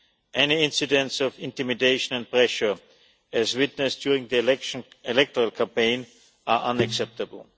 Any incidents of intimidation and pressure as witnessed during the electoral campaign are unacceptable.